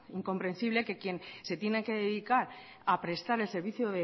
incomprensible que quien se tiene que dedicar a prestar el servicio